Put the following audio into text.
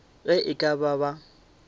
ge e ka ba ba